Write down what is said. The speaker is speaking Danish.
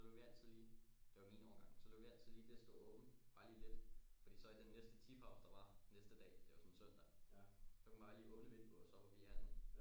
Så lod vi altid lige det var jo min årgang så lod vi altid lige det stå åbent bare lige lidt fordi så i næste tipause der var næste dag det var sådan søndag så kunne man bare lige åbne vinduet og så var vi inde